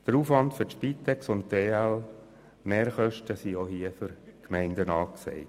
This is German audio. Mehraufwand für die Spitex- und EL-Mehrkosten sind auch hier für die Gemeinden angesagt.